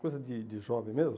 Coisa dede jovem mesmo.